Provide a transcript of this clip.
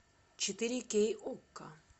четыре кей окко